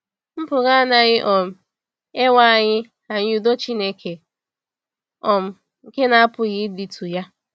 Mpụga anaghị um ewe anyị anyị “udo Chineke um nke na-apụghị ịdịtụ ya.”